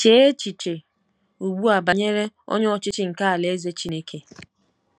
Chee echiche ugbu a banyere Onye Ọchịchị nke Alaeze Chineke.